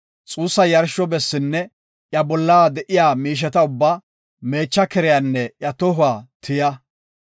xuussa yarsho bessinne iyan bolla de7iya miisheta ubba, meecha keriyanne iya tohuwa tiya.